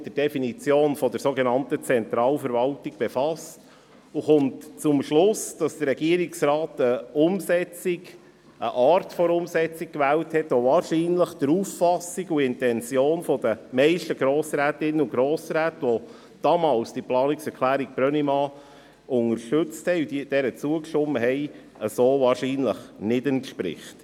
Im Rahmen der Umsetzung der Planungserklärung Brönnimann zum VA 2018 und AFP 2019–2021 hat sich die FiKo mit der Definition der sogenannten Zentralverwaltung befasst und kommt zum Schluss, dass der Regierungsrat eine Art der Umsetzung gewählt hat, die der Auffassung und Intention der meisten Grossrätinnen und Grossräte, die damals diese Planungserklärung Brönnimann unterstützt und ihr zugestimmt haben, so wahrscheinlich nicht entspricht.